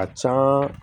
A caa